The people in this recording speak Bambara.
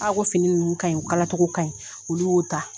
A ko fini ninnu ka ɲi o kalacogo ka ɲi olu y'o ta